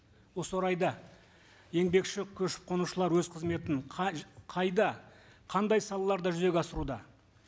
осы орайда еңбекші көшіп қонушылар өз қызметін қай қайда қандай салаларда жүзеге асыруда